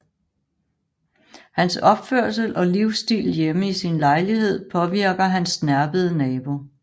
Hans opførsel og livsstil hjemme i sin lejlighed påvirker hans snerpede nabo